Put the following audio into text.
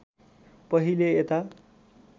पहिले यता